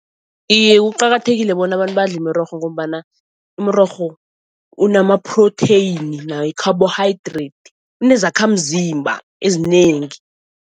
Iye kuqakathekile bona abantu badle imirorho ngombana umrorho unama-protein nayo i-carbohydrate, inezakhamzimba ezinengi.